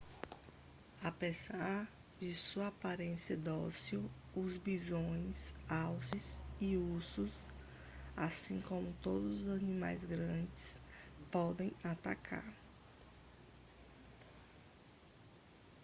apesar de sua aparência dócil os bisões alces e ursos assim como todos os animais grandes podem atacar